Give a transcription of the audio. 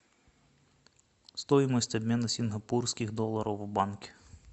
стоимость обмена сингапурских долларов в банке